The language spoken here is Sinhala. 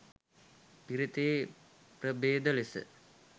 පිරිතේ ප්‍රභේද ලෙස